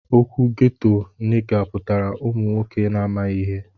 Okwu ghetto niga putara ụmụ nwọke na amaghi ihe.